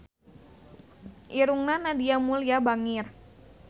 Irungna Nadia Mulya bangir